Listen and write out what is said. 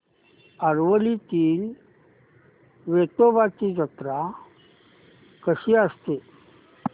आरवलीतील वेतोबाची जत्रा कशी असते